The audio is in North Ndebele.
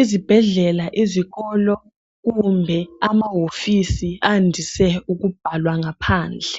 izibhedlela izikolo kumbe amawofisi andise ukubhalwa ngaphandle